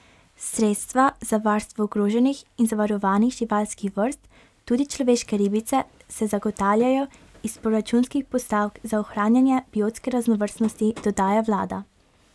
Sredstva za varstvo ogroženih in zavarovanih živalskih vrst, tudi človeške ribice, se zagotavljajo iz proračunskih postavk za ohranjanje biotske raznovrstnosti, dodaja vlada.